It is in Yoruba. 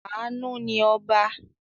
Àánú ni ọba.